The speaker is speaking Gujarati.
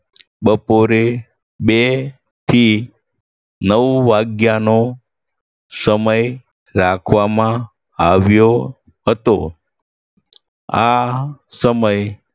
બપોરે બે થી નવ વાગ્યાનો સમય રાખવામાં આવ્યો હતો. આ સમય